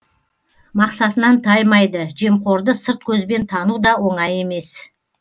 мақсатынан таймайды жемқорды сырт көзбен тану да оңай емес